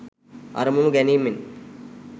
අරමුණු ගැනීමෙන්